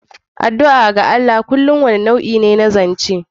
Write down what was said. Addu'a ga Allah kullum wani nau'i ne na zance.